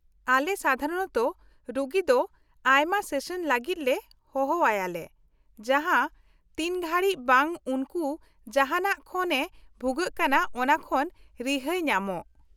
-ᱟᱞᱮ ᱥᱟᱫᱷᱟᱨᱚᱱᱛᱚ ᱨᱩᱜᱤ ᱫᱚ ᱟᱭᱢᱟ ᱥᱮᱥᱚᱱ ᱞᱟᱹᱜᱤᱫ ᱞᱮ ᱦᱚᱦᱚ ᱟᱭᱟ ᱞᱮ ᱡᱟᱦᱟᱸ ᱛᱤᱱ ᱜᱷᱟᱹᱲᱤᱡ ᱵᱟᱝ ᱩᱱᱠᱩ ᱡᱟᱦᱟᱴᱟᱜ ᱠᱷᱚᱱ ᱮ ᱵᱷᱩᱜᱟᱹᱜ ᱠᱟᱱᱟ ᱚᱱᱟ ᱠᱷᱚᱱ ᱨᱤᱦᱟᱹᱭ ᱧᱟᱢᱚᱜ ᱾